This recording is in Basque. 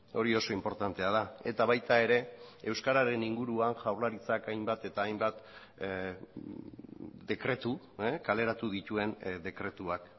hori oso inportantea da eta baita ere euskararen inguruan jaurlaritzak hainbat eta hainbat dekretu kaleratu dituen dekretuak